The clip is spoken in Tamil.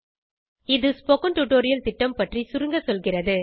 இது ஸ்போகன் டுடோரியல் திட்டம் பற்றி சுருங்க சொல்கிறது